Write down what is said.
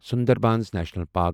Sundarbans National park